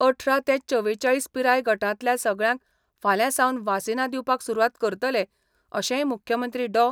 अठरा ते चवेचाळीस पिराय गटांतल्या सगळ्यांक फाल्यां सावन वासिनां दिवपाक सुरवात करतले अशेंय मुख्यमंत्री डॉ.